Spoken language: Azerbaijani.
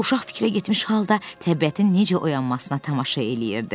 Uşaq fikrə getmiş halda təbiətin necə oyanmasına tamaşa eləyirdi.